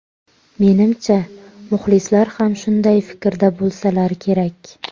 Menimcha, muxlislar ham shunday fikrda bo‘lsalar kerak.